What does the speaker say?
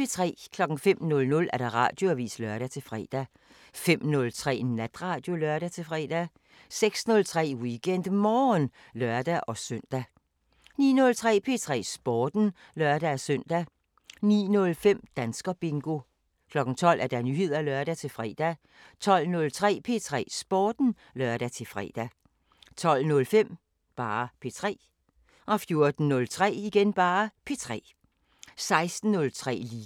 05:00: Radioavisen (lør-fre) 05:03: Natradio (lør-fre) 06:03: WeekendMorgen (lør-søn) 09:03: P3 Sporten (lør-søn) 09:05: Danskerbingo 12:00: Nyheder (lør-fre) 12:03: P3 Sporten (lør-fre) 12:05: P3 14:03: P3 16:03: Liga